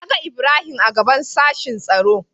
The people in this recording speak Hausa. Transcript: Na ga Ibrahim a gaɓan sashin tsaro.